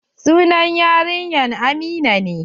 Sunan yarinyar amina ne.